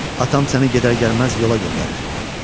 Atam səni gedər gəlməz yola göndərir."